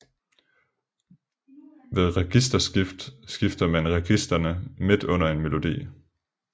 Ved registerskift skifter man registrene midt under en melodi